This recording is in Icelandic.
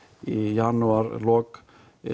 í janúarlok